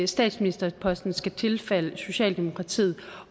statsministerposten skal tilfalde socialdemokratiet